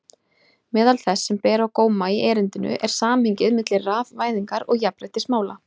Meðal þess sem ber á góma í erindinu er samhengið milli rafvæðingar og jafnréttismála.